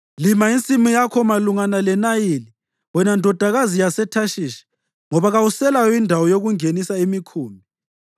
Lima insimu yakho malungana leNayili wena Ndodakazi yaseThashishi ngoba kawuselayo indawo yokungenisa imikhumbi.